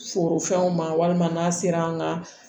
Foro fɛnw ma walima n'a sera an ka